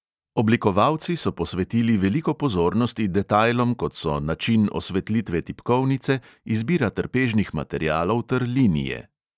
Oblikovalci so posvetili veliko pozornosti detajlom, kot so način osvetlitve tipkovnice, izbira trpežnih materialov ter linije.